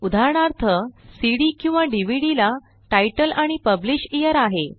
उदाहरणार्थ सीडी किंवा डीव्हीडी ला तितले आणि publish येअर आहे